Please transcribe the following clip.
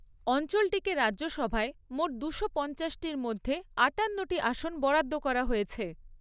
অঞ্চলটিকে রাজ্যসভায় মোট দুশো পঞ্চাশটির মধ্যে আটান্নটি আসন বরাদ্দ করা হয়েছে।